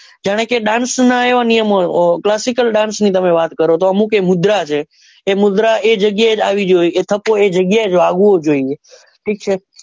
જાણે કે dance નના વવા નિયમો classical dance ની તમે વાત કરો તો અમુક એ મુદ્ર છે એ મુદ્રા આવે જગ્યા એ આવવી જોઈએ એ થપ્પો એ જગ્યા એ જ આવવો જોઈએ ઠીક છે.